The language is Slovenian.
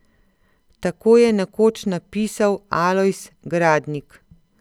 Tako je nekoč napisal Alojz Gradnik.